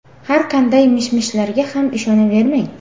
Har qanday mish-mishlarga ham ishonavermang.